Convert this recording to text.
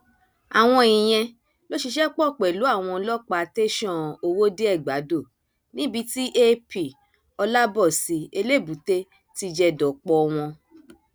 àwọn ìyẹn ló ṣiṣẹ pọ pẹlú àwọn ọlọpàá tẹsán ọwọdeẹgbàdo níbi tí ap olabosi elébúté ti jẹ dọpọ wọn